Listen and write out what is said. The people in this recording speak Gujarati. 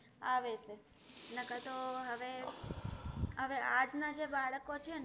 આવે છે ન કર તો હવે, હવે આજના જે બાળકો છેને.